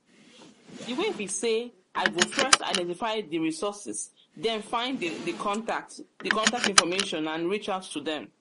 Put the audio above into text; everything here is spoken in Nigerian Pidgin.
way be say i go first identify di resources den find di contact di contactinformation and reach out to dem.